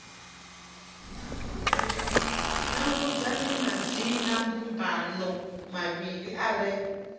nanguludzani madzinambumbano mavhili a re